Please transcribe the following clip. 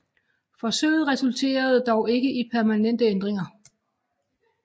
Forsøget resulterede dog ikke i permanente ændringer